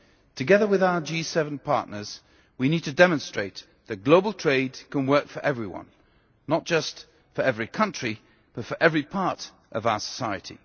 Together with our G7 partners, we need to demonstrate that global trade can work for everyone not just for every country, but for every part of our society.